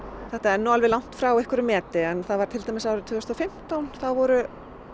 þetta er alveg langt frá einhverju meti en það var til dæmis árið tvö þúsund og fimmtán þá voru